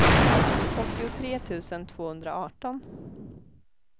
åttiotre tusen tvåhundraarton